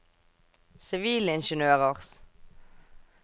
sivilingeniørers